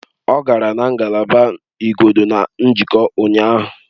Ọ gara na ngalaba igodo na njikwa ụnyaahụ